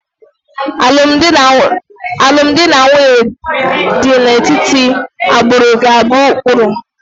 Alụmdi na nwunye dị n'etiti agbụrụ ga-abụ ụkpụrụ